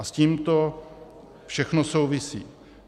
A s tím to všechno souvisí.